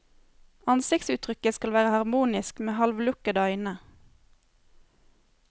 Ansiktsuttrykket skal være harmonisk, med halvlukkede øyne.